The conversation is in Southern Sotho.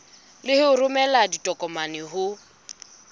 le ho romela ditokomane ho